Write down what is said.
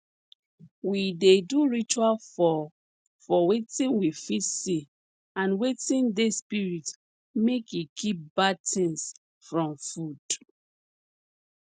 we dey do ritual for for wetin we fit see and wetin dey spirit make e keep bad things from food